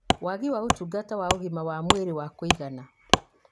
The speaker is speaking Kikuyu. wagi wa ũtungata wa ũgima wa mwĩrĩ wa kũigana